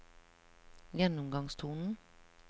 gjennomgangstonen